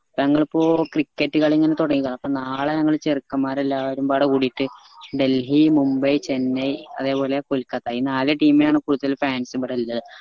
ഞങ്ങൾ ഇപ്പൊ cricket കളി ഇങ്ങനെ തൊടങ്ങീക്ക അപ്പൊ നാളെ ഞങ്ങൾ ചെറുക്കൻമാര് എല്ലാവരും വേറെ കൂടീറ്റ് ഡൽഹി മുംബൈ ചെന്നൈ അതെ പോലെ കൊൽക്കത്ത ഈ നാല് team നാണ് ഇപ്പൊ കൂടുതൽ fans ഇബടെ ഇള്ളേ